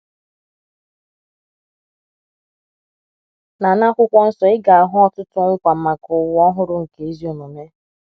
Na Na akwụkwo nsọ ị ga - ahụ ọtụtụ nkwa maka ụwa ọhụrụ nke ezi omume.